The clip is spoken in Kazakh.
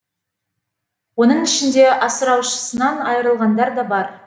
оның ішінде асыраушысынан айырылғандар да бар